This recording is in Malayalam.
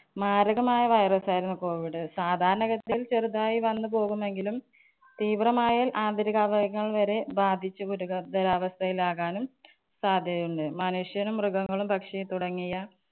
മാരകമായ virus ആയിരുന്നു COVID. സാധാരണ ഗതിയിൽ ചെറുതായി വന്നു പോകുമെങ്കിലും തീവ്രമായാല്‍ ആന്തരികാവയവങ്ങള്‍ വരെ ബാധിച്ചു ഗുരുതരാവസ്ഥയിലാവാനും സാധ്യതയുണ്ട്. മനുഷ്യനും മൃഗങ്ങളും പക്ഷി തുടങ്ങിയ